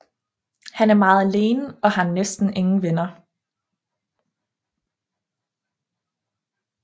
Han er meget alene og har næsten ingen venner